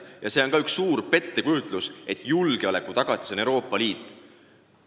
See muuseas on ka üks suur pettekujutlus, et julgeoleku tagatis on Euroopa Liit.